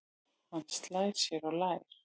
Hann slær sér á lær.